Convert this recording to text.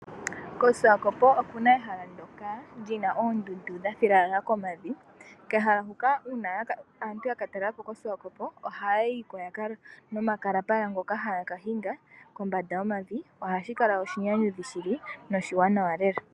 KoSwakopo okuna ehala ndoka lyina oondundu dhafilwa komavi kehala huka uuna aantu yaka talelapo koSwakopo ohaya yiko nomakalambala ngoka haya kahinga kombanda yomavi ohashi kala oshinyanyudhi shili noshiwanawa lela.